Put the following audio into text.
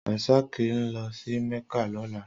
Rasak n lò si Mecca lòlá